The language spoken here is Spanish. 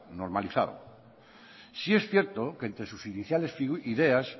normalizado sí es cierto que entre sus iniciales ideas